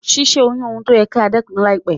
Si sẹ́ oyún oun ti o yẹ kí a dẹ́kun láìpẹ́